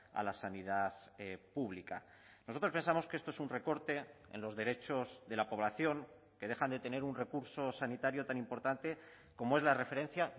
a la sanidad pública nosotros pensamos que esto es un recorte en los derechos de la población que dejan de tener un recurso sanitario tan importante como es la referencia